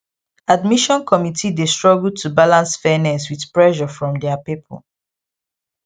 admission committee dey struggle to balance fairness with pressure from their people